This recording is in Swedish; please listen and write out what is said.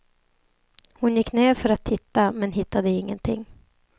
Hon gick ner för att titta men hittade ingenting.